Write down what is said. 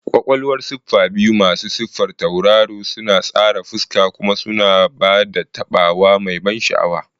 Ƙwaƙwalwar siffa biyu masu siffar tauraro suna tsara fuska kuma suna ba da taɓawa mai ban sha'awa.